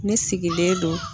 Ne sigilen don